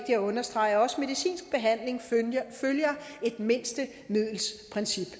at understrege at også medicinsk behandling følger et mindste middel princip